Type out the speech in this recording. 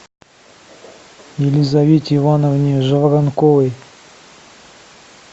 елизавете ивановне жаворонковой